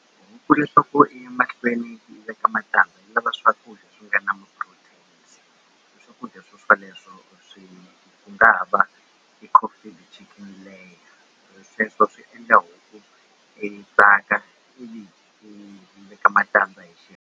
Huku leswaku i ya mahlweni yi veka yi lava swi nga na ma-protein swakudya swo swoleswo swi nga ha va leyo sweswo swi endla huku yi tsaka yi veka matandza hi .